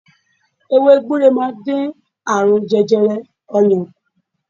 Ewé gbure máa ń dín àrùn jẹjẹrẹ oyan kù.